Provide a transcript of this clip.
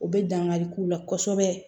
U bɛ dankari k'u la kosɛbɛ